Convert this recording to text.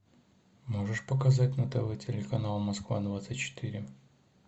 можешь показать на тв телеканал москва двадцать четыре